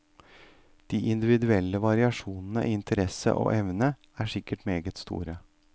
De individuelle variasjonene i interesse og evne, er sikkert meget store.